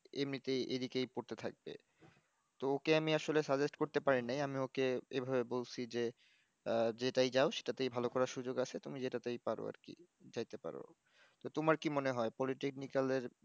এমনিতে এদিকে পড়তে থাকবে ত ওকে আমি আসলে suggest করতে পারি নাই আমি ওকে এই ভাবে বলছি যে আহ যেটায় যাও সেটাতে ভাল সুযোগ আছে তুমি যেটাতেই পার আরকি যাইতে পারো তো তোমার কি মনে হয় politaknical এর